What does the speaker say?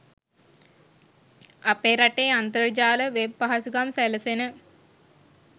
අපේ රටේ අන්තර්ජාල වෙබ් පහසුකම් සැලසෙන